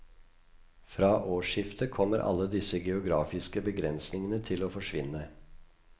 Fra årsskiftet kommer alle disse geografiske begrensningene til å forsvinne.